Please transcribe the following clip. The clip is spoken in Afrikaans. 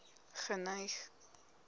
geneig